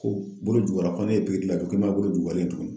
Ko bolojugu ko ne ye pikiri lajɔ ko i ma bolo juguyalen ye tugun